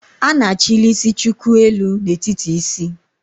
A na-achili isi chuku elu n'etiti isi